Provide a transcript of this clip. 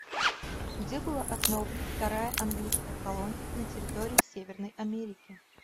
где была основана вторая английская колония на территории северной америки